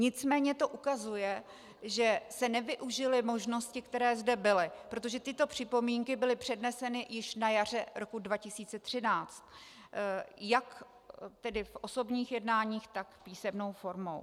Nicméně to ukazuje, že se nevyužily možnosti, které zde byly, protože tyto připomínky byly předneseny již na jaře roku 2013, jak tedy v osobních jednáních, tak písemnou formou.